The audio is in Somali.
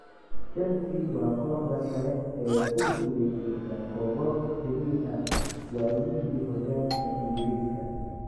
Chelsea waa kooxda kale ee ku guulaysta koobab xiriir ah waayihii xooryaalka ingriska.